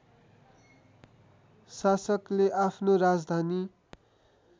शासकले आफ्नो राजधानी